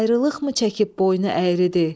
Ayrılıqmı çəkib boynu əyridir?